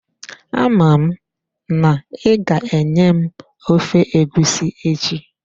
Ama m n'iga-enye m ofe egusi echi.